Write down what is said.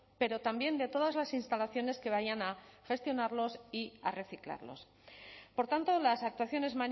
pero también de todas las instalaciones que vayan a gestionarlos y a reciclarlos por tanto las actuaciones